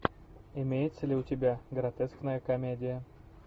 имеется ли у тебя гротескная комедия